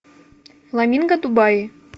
фламинго дубай